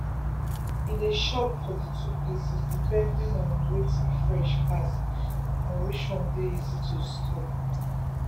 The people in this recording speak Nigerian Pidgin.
him dey shop for di two places depending on wetin fresh pass and which one easy to store.